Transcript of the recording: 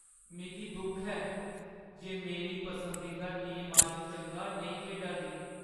मिगी दुख ऐ जे मेरी पसंदीदा टीम अज्ज चंगा नेईं खेढा दी।